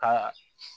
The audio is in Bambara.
Ka